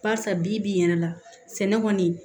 Barisa bibi in yɛrɛ la sɛnɛ kɔni